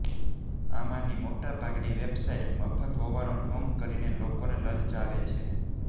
આમાંની મોટાભાગની વેબસાઇટ્સ મફત હોવાનો ઢોંગ કરીને લોકોને લલચાવે છે